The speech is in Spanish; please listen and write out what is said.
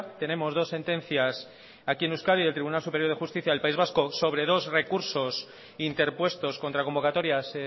tenemos dos sentencias aquí en euskadi del tribunal superior de justicia del país vasco sobre dos recursos interpuestos contra convocatorias